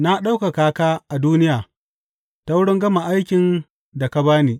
Na ɗaukaka ka a duniya ta wurin gama aikin da ka ba ni.